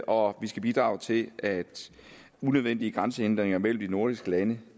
og vi skal bidrage til at unødvendige grænsehindringer mellem de nordiske lande